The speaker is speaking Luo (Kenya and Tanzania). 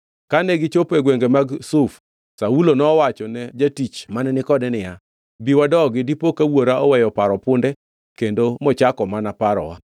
Kane gichopo e gwenge mag Zuf, Saulo nowachone jatich mane ni kode niya, “Bi wadogi, dipo ka wuora oweyo paro punde kendo mochako mana parowa.”